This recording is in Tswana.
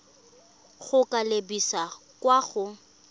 go ka lebisa kwa go